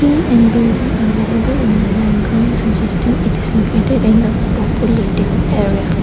and building are visible in the background suggesting it is located in the populated area.